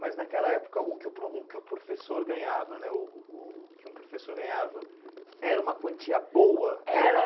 Mas, naquela época, o que o pro o que o professor ganhava né uh uh o que um professor ganhava era uma quantia boa? Era